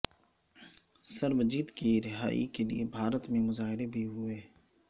سربجیت کی رہائی کے لیے بھارت میں مظاہرے بھی ہوئے